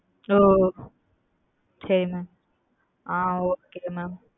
ஓ சரி mam ஆ okay mam